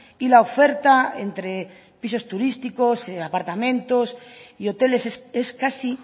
y la oferta entre pisos turísticos apartamentos y hoteles es casi